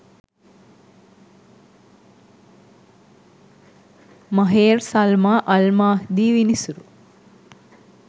Maher Salma Al Mahdi විනිසුරු